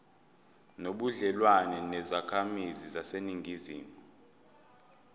nobudlelwane nezakhamizi zaseningizimu